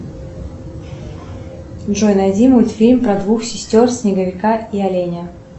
джой найди мультфильм про двух сестер снеговика и оленя